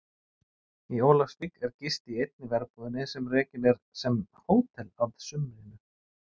Í Ólafsvík er gist í einni verbúðinni sem rekin er sem hótel að sumrinu.